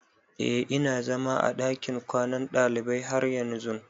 Eh ina zama a dakin kwanan dalibai har yanzun.